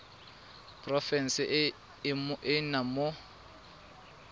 porofenseng e o nnang mo